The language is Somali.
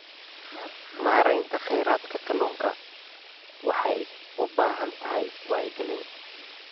Maareynta kheyraadka kalluunka waxay u baahan tahay wacyigelin.